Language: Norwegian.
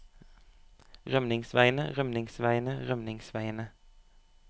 rømningsveiene rømningsveiene rømningsveiene